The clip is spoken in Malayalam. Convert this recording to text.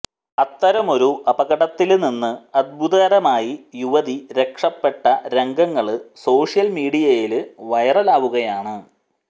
അത്തരമൊരു അപകടത്തില് നിന്ന് അത്ഭുതകരമായി യുവതി രക്ഷപ്പെട്ട രംഗങ്ങള് സോഷ്യല് മീഡിയയില് വൈറലാവുകയാണ്